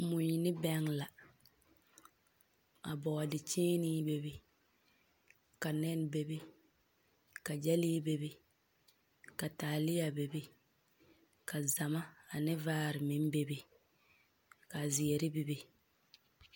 Mui ne bɛŋ la. Ka bɔɔdekyeenee bebe. Ka nɛne bebe, ka gyɛlee bebe, ka taalea bebe, ka zama ane vaare meŋ bebe, ka zeɛre bebe.